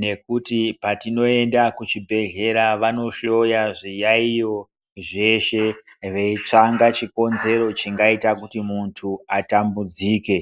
nekuti petinoenda kuchibhedhlera vanohloya zviyaiyo zveshe, veitsvanga chikonzero chingaita kuti muntu atambudzike.